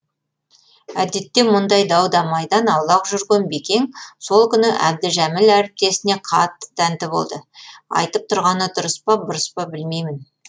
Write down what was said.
әдетте мұндай дау дамайдан аулақ жүрген бекең сол күні әбдіжәміл әріптесіне қатты тәнті болды айтып тұрғаны дұрыс па бұрыс па білмеймін